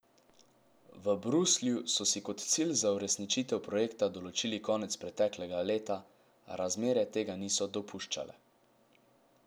V Bruslju so si kot cilj za uresničitev projekta določili konec preteklega leta, a razmere tega niso dopuščale.